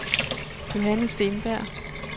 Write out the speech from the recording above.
Johanne Steenberg